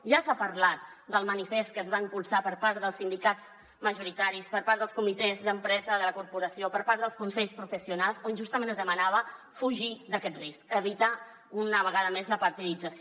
ja s’ha parlat del manifest que es va impulsar per part dels sindicats majoritaris per part dels comitès d’empresa de la corporació per part dels consells professionals on justament es demanava fugir d’aquest risc evitar una vegada més la partidització